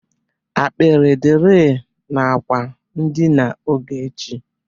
Apkịrị dịri n'akwa ndịna Ogechi.